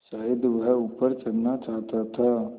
शायद वह ऊपर चढ़ना चाहता था